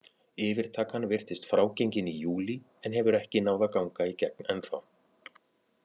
Yfirtakan virtist frágengin í júlí en hefur ekki náð að ganga í gegn ennþá.